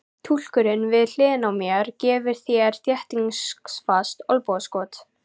Túlkurinn við hliðina á mér gefur mér þéttingsfast olnbogaskot.